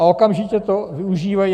A okamžitě to využívají.